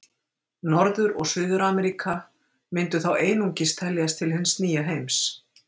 Norður- og Suður-Ameríka myndu þá einungis teljast til hins nýja heims.